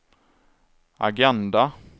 agenda